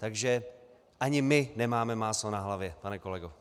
Takže ani my nemáme máslo na hlavě, pane kolego.